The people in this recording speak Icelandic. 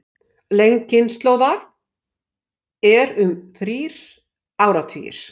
Lengd kynslóðar er um þrír áratugir.